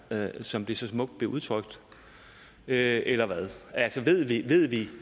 som det så smukt blev udtrykt eller hvad ved vi